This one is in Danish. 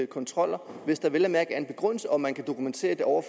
kontroller hvis der vel at mærke er en begrundelse og man kan dokumentere det over